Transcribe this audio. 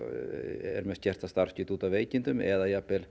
er með skerta starfsgetu út af veikindum eða